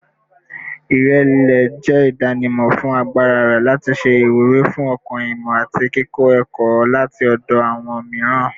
Irẹlẹ jẹ idanimọ fun agbara rẹ lati ṣe iwuri fun ọkan-ìmọ ati kikọ ẹkọ lati ọdọ awọn miiran